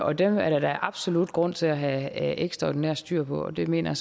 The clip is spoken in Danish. og dem er der da absolut grund til at have ekstraordinært styr på og det mener